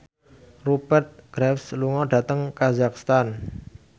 Rupert Graves lunga dhateng kazakhstan